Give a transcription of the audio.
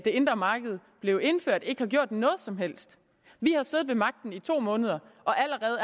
indre marked blev indført ikke har gjort noget som helst vi har siddet ved magten i to måneder og allerede